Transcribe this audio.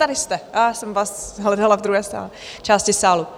Tady jste, já jsem vás hledala v druhé části sálu.